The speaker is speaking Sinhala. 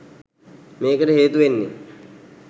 මේකට හේතු වෙන්නේ